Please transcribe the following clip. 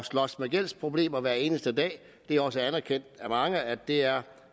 slås med gældsproblemer hver eneste dag det er også anerkendt af mange at der